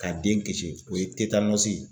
Ka den kisi o ye ye.